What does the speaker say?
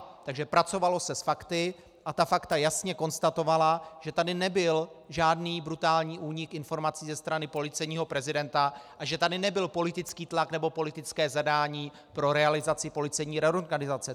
Takže pracovalo se s fakty a ta fakta jasně konstatovala, že tady nebyl žádný brutální únik informací ze strany policejního prezidenta a že tady nebyl politický tlak nebo politické zadání pro realizaci policejní reorganizace.